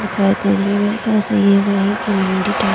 दिखाई दे रही है मेरे ख्याल से वही की मंडी टाइप --